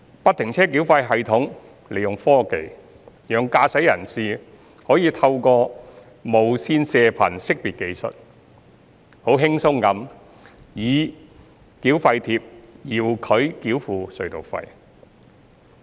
不停車繳費系統利用科技，讓駕駛人士可以透過無線射頻識別技術，輕鬆地以繳費貼遙距繳付隧道費。